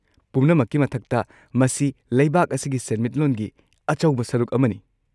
ꯄꯨꯝꯅꯃꯛꯀꯤ ꯃꯊꯛꯇ, ꯃꯁꯤ ꯂꯩꯕꯥꯛ ꯑꯁꯤꯒꯤ ꯁꯦꯟꯃꯤꯠꯂꯣꯟꯒꯤ ꯑꯆꯧꯕ ꯁꯔꯨꯛ ꯑꯃꯅꯤ꯫